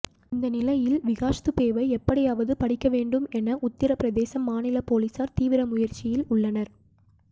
இந்த நிலையில் விகாஷ் துபேவை எப்படியாவது பிடிக்க வேண்டும் என உத்தரப்பிரதேசம் மாநில போலீசார் தீவிர முயற்சியில் உள்ளனர்